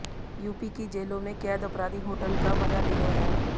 UP की जेलों में कैद अपराधी होटल का मजा ले रहे हैं